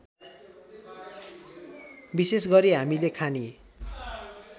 विशेषगरी हामीले खाने